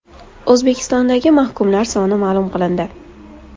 O‘zbekistondagi mahkumlar soni ma’lum qilindi.